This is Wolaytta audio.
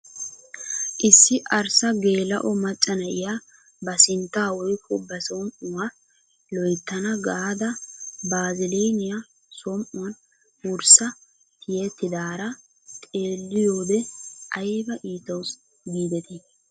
issi arssa geela'o macca na'iyaa ba sinttaa woykko ba som"uwaa loyttana gaada baaziliniyaa som"uwaan wurssa tiyettidara xeelliyoode ayba iittawus gidetii!